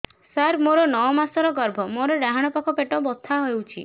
ସାର ମୋର ନଅ ମାସ ଗର୍ଭ ମୋର ଡାହାଣ ପାଖ ପେଟ ବଥା ହେଉଛି